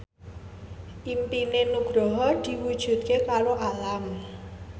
impine Nugroho diwujudke karo Alam